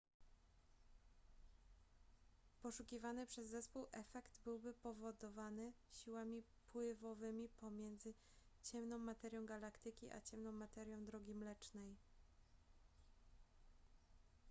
poszukiwany przez zespół efekt byłby powodowany siłami pływowymi pomiędzy ciemną materią galaktyki a ciemną materią drogi mlecznej